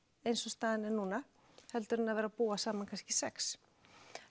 eins og staðan er núna heldur en að vera að búa saman kannski sjötta